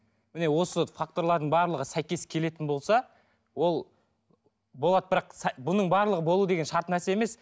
міне осы факторлардың барлығы сәйкес келетін болса ол болады бірақ бұның барлығы болу деген шарт нәрсе емес